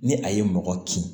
Ni a ye mɔgɔ kin